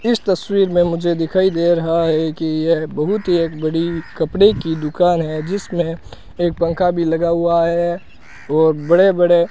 इस तस्वीर में मुझे दिखाई दे रहा है कि यह बहुत ही एक बड़ी कपड़े की दुकान है जिसमें एक पंखा भी लगा हुआ है और बड़े बड़े --